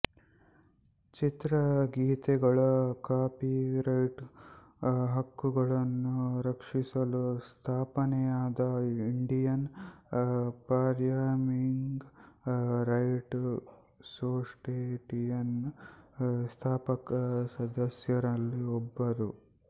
ಚಿತ್ರಗೀತೆಗಳ ಕಾಪಿರೈಟ್ ಹಕ್ಕುಗಳನ್ನು ರಕ್ಷಿಸಲು ಸ್ಥಾಪನೆಯಾದ ಇಂಡಿಯನ್ ಪರ್ಫಾಮಿಂಗ್ ರೈಟ್ ಸೊಸೈಟಿ ಯ ಸ್ಥಾಪಕ ಸದಸ್ಯರಲ್ಲಿ ಒಬ್ಬರು